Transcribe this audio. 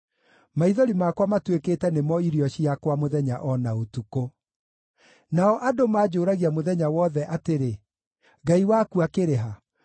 Maithori makwa matuĩkĩte nĩmo irio ciakwa mũthenya o na ũtukũ, nao andũ manjũũragia mũthenya wothe atĩrĩ, “Ngai waku akĩrĩ ha?”